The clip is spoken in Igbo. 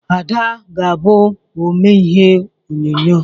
Ada ga-abụ omee ihe onyonyo